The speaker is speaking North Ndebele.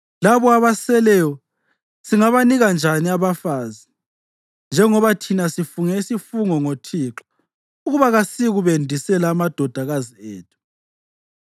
Labo abaseleyo singabanika njani abafazi, njengoba thina sifunge isifungo ngoThixo ukuba kasiyi kubendisela amadodakazi ethu?”